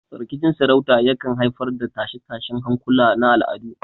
Rikicin sarauta yakan haifar da tashe-tashen hankula na al'adu.